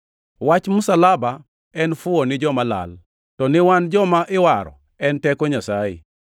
Wach msalaba en fuwo ni joma lal, to ni wan joma iwaro, en teko Nyasaye,